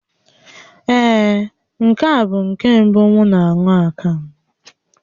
Ee, nke a bụ nke mbụ m na-aṅụ akamụ